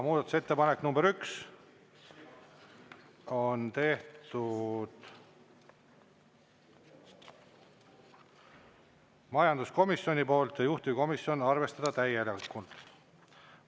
Muudatusettepanek nr 1 on tehtud majanduskomisjoni poolt, juhtivkomisjon: arvestada täielikult.